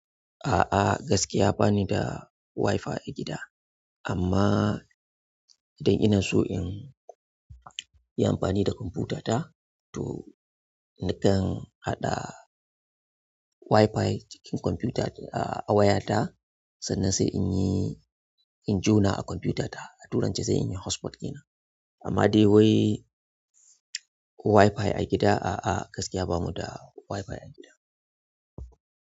A'a gaskiya bani da Wi-Fi a gida. Amma idan ina so in yi amfani da kwamfutata to nakan haɗa Wi-Fi cikin kwamfuta a wayarta sannan sai in yi, in jona a kwamfutata a tura ta zai yi hotspot ina. Amma dai wai Wi-Fi a gida a'a gaskiya bamu da Wi-Fi a gida.